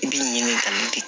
I bi ɲini ka